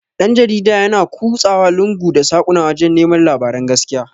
Dan-jarida yana ƙusawa lungu da saƙuna wajan neman labaran gaskiya.